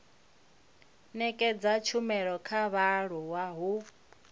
nekedza tshumelo kha vhaaluwa ho